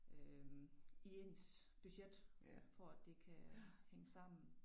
Øh i ens budget for at det kan hænge sammen